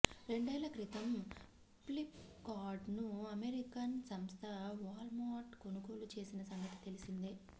రెండేళ్ల క్రితం ఫ్లిప్ కార్ట్ ను అమెరికన్ సంస్థ వాల్మార్ట్ కొనుగోలు చేసిన సంగతి తెలిసిందే